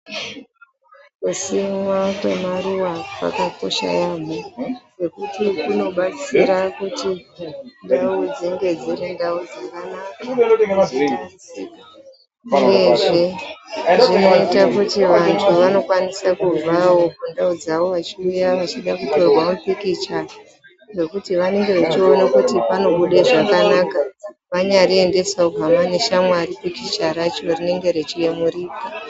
Kusimwa kwemaruwa kwakakosha yaambho ngekuti kunobatsira kuti ndau dzinge dziri ndau dzakanaka uyezve zvinoita kuti vanthu vanokwanisa kubvawo kundau dzavo vechiuya vechida kutorwa mapikichanekuti vanenge vechiona kuti pqnonuda zvakanaka, wanyarariendesa pikich rachona kuhama neshamwari rinenge reiyemurika.